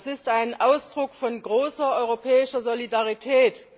Das ist ein Ausdruck von großer europäischer Solidarität.